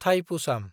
Thaipusam